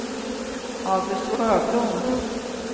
August Sjöblom